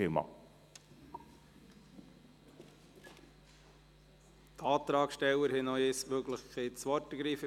Die Antragssteller haben noch einmal die Möglichkeit, das Wort zu ergreifen.